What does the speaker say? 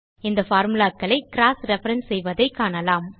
இந்த பார்முலா க்களை cross reference செய்வதைக் காணலாம்